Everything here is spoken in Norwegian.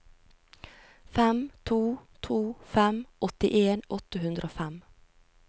fem to to fem åttien åtte hundre og fem